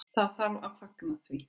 Það þarf að fagna því.